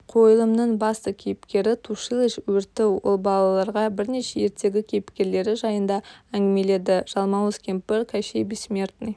қойылымның басты кейіпкері тушилыч өрті ол балаларға бірнеше ертегі кейіпкерлері жайында әңгімеледі жалмауыз кемпір кощей бессмертный